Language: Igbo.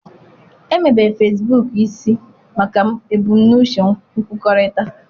Emebere Fesbuk isi maka ebumnuche nkwukọrịta.